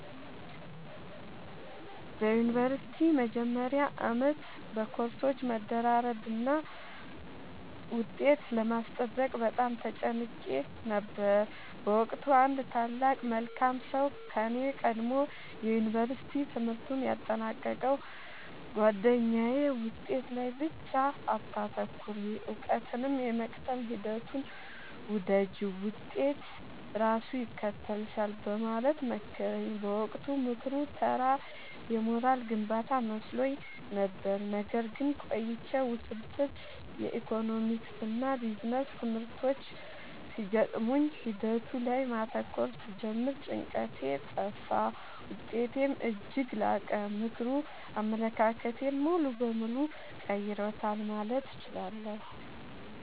በዩኒቨርሲቲ መጀመሪያ ዓመት በኮርሶች መደራረብና ውጤት ለማስጠበቅ በጣም ተጨንቄ ነበር። በወቅቱ አንድ ታላቅ መልካም ሰው ከኔ ቀድሞ የዩንቨርስቲ ትምህርቱን ያጠናቀቀው ጉአደኛዬ «ውጤት ላይ ብቻ አታተኩሪ: እውቀትን የመቅሰም ሂደቱን ውደጂው፣ ውጤት ራሱ ይከተልሻል» በማለት መከረኝ። በወቅቱ ምክሩ ተራ የሞራል ግንባታ መስሎኝ ነበር። ነገር ግን ቆይቼ ውስብስብ የኢኮኖሚክስና ቢዝነስ ትምህርቶች ሲገጥሙኝ ሂደቱ ላይ ማተኮር ስጀምር ጭንቀቴ ጠፋ: ውጤቴም እጅግ ላቀ። ምክሩ አመለካከቴን ሙሉ በሙሉ ቀይሮታል ማለት እችላለሁ።